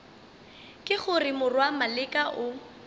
ke gore morwa maleka o